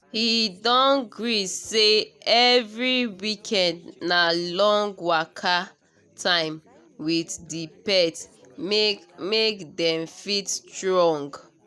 he don gree say every weekend na long waka time with the pet make make dem fit strong